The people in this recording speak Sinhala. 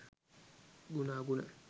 ගුණ අගුණ